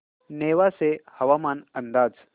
नेवासे हवामान अंदाज